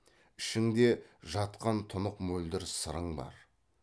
ішіңде жатқан тұнық мөлдір сырың бар